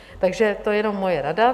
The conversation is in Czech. Takže to je jenom moje rada.